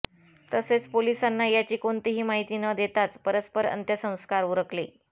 तसेच पोलिसांना याची कोणतीही माहिती न देताच परस्पर अंत्यसंस्कार उरकले